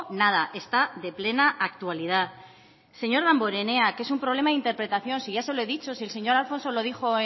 nada está de plena actualidad señor damborenea que es un problema de interpretación si ya se lo he dicho si el señor alfonso lo dijo